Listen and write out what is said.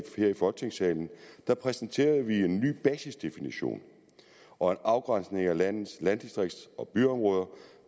folketingssalen præsenterede vi en ny basisdefinition og en afgrænsning af landets landdistrikts og byområder